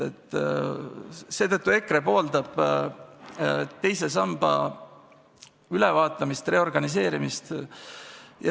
Seetõttu EKRE pooldab teise samba ülevaatamist, reorganiseerimist.